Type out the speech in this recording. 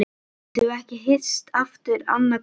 Getum við ekki hist aftur annað kvöld?